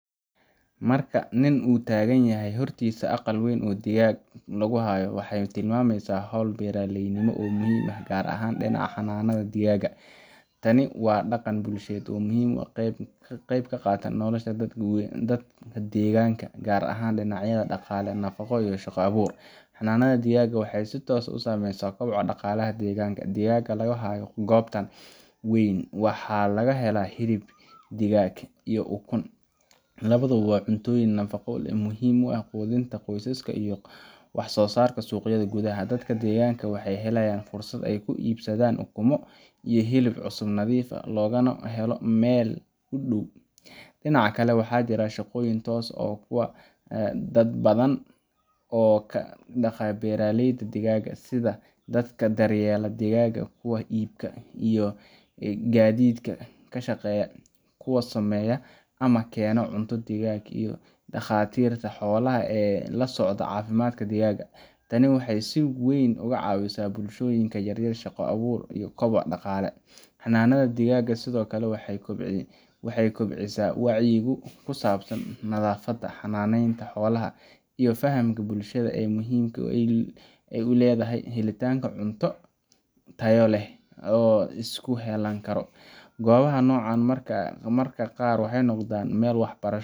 Marka nin uu taagan yahay hortiisa aqal weyn oo digaag lagu hayo, waxay tilmaamaysaa hawl beeraleynimo oo muhiim ah, gaar ahaan dhinaca xanaanada digaagga. Tani waa dhaqan bulsheed muhiim ah oo qayb ka qaata nolosha dadka deegaanka, gaar ahaan dhinacyada dhaqaale, nafaqo, iyo shaqo abuur. Xanaanada digaagga waxay si toos ah u saameysaa koboca dhaqaalaha deegaanka. Digaagga laga hayo goobtan weyn waxaa laga helaa hilib digaag iyo ukun labaduba waa cuntooyin nafaqo leh oo muhiim u ah quudinta qoysaska iyo wax-soo-saarka suuqyada gudaha. Dadka deegaanka waxay helayaan fursad ay ku iibsadaan ukumo iyo hilib cusub, nadiif ah, oo laga helo meel u dhow. Dhinaca kale, waxaa jira shaqooyin toos ah iyo kuwo dadban oo ka dhasha beeraleyda digaagga sida dadka daryeela digaagga, kuwa iibka iyo gaadiidka ka shaqeeya, kuwa sameeya ama keena cunto digaag, iyo dhakhaatiirta xoolaha ee la socda caafimaadka digaagga. Tani waxay si weyn uga caawisaa bulshooyinka yaryar shaqo abuur iyo koboc dhaqaale. Xanaanada digaagga sidoo kale waxay kobcisaa wacyiga ku saabsan nadaafadda, xannaaneynta xoolaha, iyo fahamka bulshada ee muhiimadda ay leedahay helitaanka cunto tayo leh oo isku halayn karo. Goobaha noocan ah mararka qaar waxay noqdaan meel waxbarasho